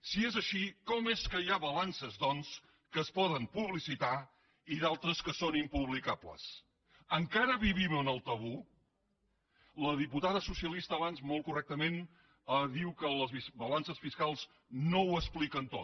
si és així com és que hi ha balances doncs que es poden publicitar i d’altres que són impublicables encara vivim en el tabú la diputada socialista abans molt correctament ha dit que les balances fiscals no ho expliquen tot